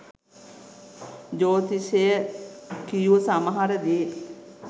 ජ්‍යෙතිෂය කියූ සමහර දේත්